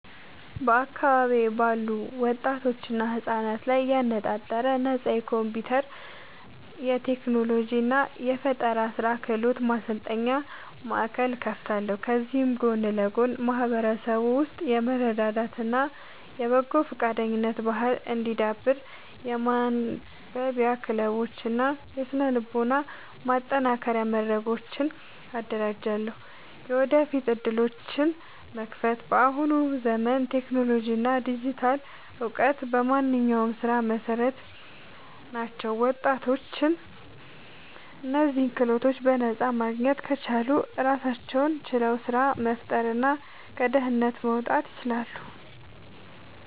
በአካባቢዬ ባሉ ወጣቶችና ህጻናት ላይ ያነጣጠረ ነፃ የኮምፒውተር፣ የቴክኖሎጂ እና የስራ ፈጠራ ክህሎት ማሰልጠኛ ማእከል እከፍታለሁ። ከዚህም ጎን ለጎን በማህበረሰቡ ውስጥ የመረዳዳት እና የበጎ ፈቃደኝነት ባህል እንዲዳብር የማንበቢያ ክለቦችን እና የስነ-ልቦና ማጠናከሪያ መድረኮችን አደራጃለሁ። የወደፊት ዕድሎችን መክፈት፦ በአሁኑ ዘመን ቴክኖሎጂ እና ዲጂታል እውቀት የማንኛውም ስራ መሰረት ናቸው። ወጣቶች እነዚህን ክህሎቶች በነፃ ማግኘት ከቻሉ ራሳቸውን ችለው ስራ መፍጠርና ከድህነት መውጣት ይችላሉ።